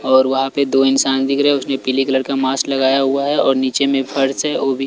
और वहां पे दो इंसान दिख रहे है उसने पीले कलर का मास्क लगाया हुआ है और नीचे में फर्श है ओ भी--